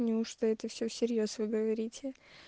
не уж то это все в серьёз вы говорите